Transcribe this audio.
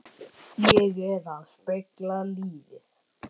Ég er að spegla lífið.